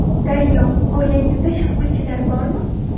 Daryo: Oilangizda shaxmatchilar bormi?